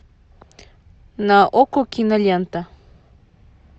на окко кинолента